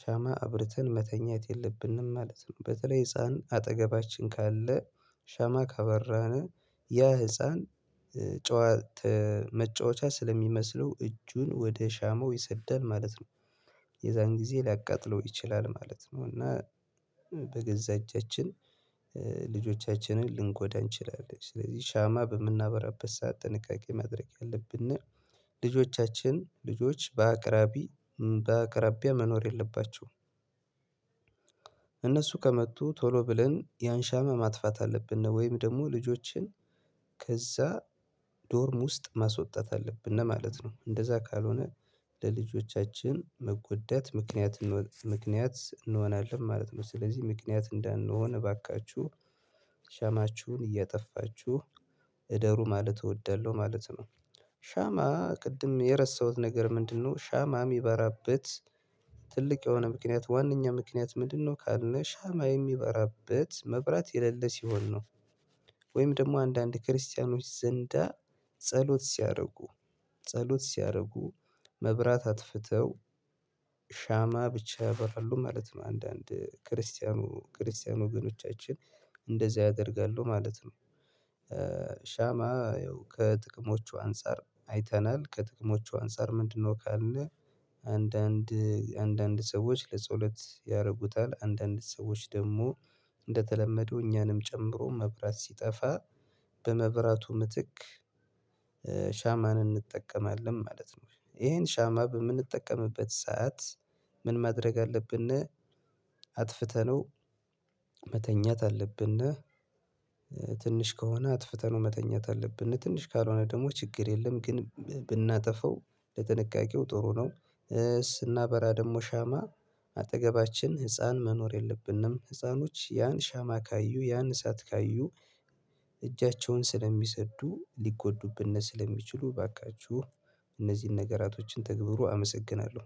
ሻማ አብርተን መተኛት የለብንም ማለት ነው። በተለይ ህፃን አጠገባችን ካለ ሻማ ካበራነ ያ ህፃን መጫወቻ ስለሚመስለው እጁን ወደ ሻማው ይሰዳል ማለት ነው ጊዜ ሊያቃጥለው ይችላል ማለት ነው። እና በገዛ እጃችን ልጆቻችንን ልንጎዳ እንችላለን ስለዚህ ሻማ በምናበራበት ሰዓት ጥንቃቄ ማድረግ ያለብን ልጆቻችን ልጆች በአቅራቢ በአቅራቢያ መኖር የለባቸውም። እነሱ ከመጡ ቶሎ ብለን ያንሻማ ማጥፋት አለብን ነው ወይም ደግሞ ልጆችን ከዛ ዶርም ውስጥ ማስወጣት አለብን እና ማለት ነው። እንደዛ ካልሆነ ለልጆቻችን መጎደት ምክንያት ምክንያት እንሆናለን ማለት ነው። ስለዚህ ምክንያት እንዳንሆን እባካችሁ ሻማችሁን እየጠፋችሁ እደሩ ማለት እወዳለሁ ማለት ነው። ሻማ ቅድም የረሳሁት ነገር ምንድነው? ሻማ የሚበራበት ትልቅ የሆነ ምክንያት ዋናኛ ምክንያት ምንድነው? ካልነ ካልነሻማ የሚበራበት መብራት የሌለ ሲሆን ነው። ወይም ደግሞ አንዳንድ ክርስቲያኖች ዘንዳ ጸሎት ሲያደርጉ ጸሎት ሲያደርጉ መብራት አጥፍተው ብቻ ያበራሉ ማለት ነው። አንዳንድ ክርስቲያኑ ክርስቲያኑ ግኖቻችን እንደዚህ ያደርጋሉ ማለት ነው። ሻማ ያው ከጥቅሞቹ አንፃር አይተናል ከጥቅሞቹ አንፃር ምንድነው? ካለ አንዳንድ አንዳንድ ሰዎች ለጸሎት ያደርጉታል አንዳንድ ሰዎች ደግሞ እንደተለመደው እኛንም ጨምሮ መብራት ሲጠፋ በመብራቱ ምትክ ሻማን እንጠቀማለን ማለት ነው። ይሄን ሻማ በምንጠቀምበት ሰዓት ምን ማድረግ አለብን? አጥፍተነው መተኛት አለብን። ትንሽ ከሆነ አጥፍተነው መተኛት አለብን ትንሽ ካልሆነ ደግሞ ችግር የለም ግን ብናጠፋው ለጥንቃቄው ጥሩ ነው። ስናበራ ደግሞ ሻማ አጠገባችን ህፃን መኖር የለብንም ህፃኖች ያን ሻማ ካዩ ያን እሳት ካዩ እጃቸውን ስለሚሰዱ ሊጎዱብን ስለሚችሉ እባካችሁ እነዚህን ነገራቶችን ተግብሩ። አመሰግናለሁ